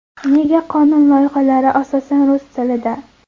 Nega qonun loyihalari asosan rus tilida?